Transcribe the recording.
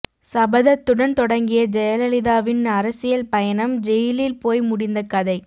சபதத்துடன் தொடங்கிய ஜெயலலிதாவின் அரசியல் பயணம் ஜெயிலில் போய் முடிந்த கதை